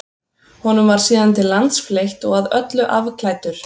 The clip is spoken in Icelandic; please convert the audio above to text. Honum var síðan til lands fleytt og að öllu afklæddur.